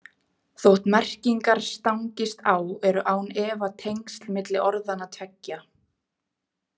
Þótt merkingar stangist á eru án efa tengsl milli orðanna tveggja.